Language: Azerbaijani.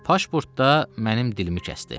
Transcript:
Pasportda mənim dilimi kəsdi.